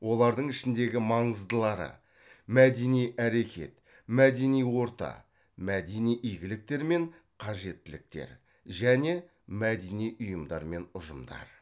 олардың ішіндегі маңыздылары мәдени әрекет мәдени орта мәдени игіліктер мен қажеттіліктер және мәдени ұйымдар мен ұжымдар